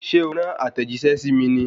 Ṣé o rán àtẹ̀jíṣẹ́ sí mi ní?